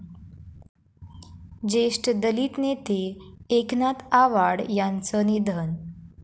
ज्येष्ठ दलित नेते एकनाथ आवाड यांचं निधन